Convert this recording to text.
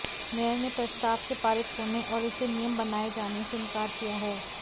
mayor ने प्रस्ताव के पारित होने और इसे नियम बनाए जाने से इनकार किया है